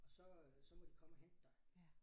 Og så øh så må de komme og hente dig